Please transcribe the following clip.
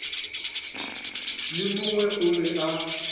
le mongwe o be a